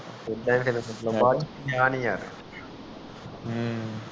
ਆ ਨੀ ਆ ਹਨ